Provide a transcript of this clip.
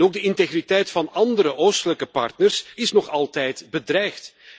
Ook de integriteit van andere Oostelijke partners is nog altijd bedreigd.